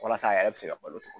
Walasa a yɛrɛ bɛ se ka balo togo